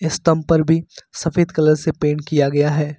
स्तंभ पर भी सफेद कलर से पेंट किया गया है।